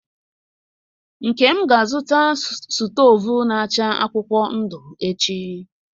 Nkem ga-azụta stovu na acha akwukwuo ndu echi.